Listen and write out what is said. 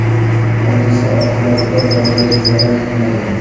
Hodisa oqibatida bolaga zarar yetmagan.